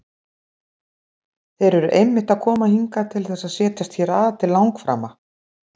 Þeir eru einmitt að koma hingað til þess að setjast hér að til langframa!